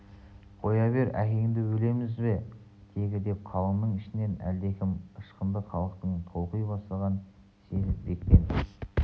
қоя бер әкеңді өлеміз бе тегі деп қалыңның ішінен әлдекім ышқынды халықтың толқи бастағанын сезіп бектен